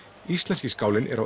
íslenski skálinn er á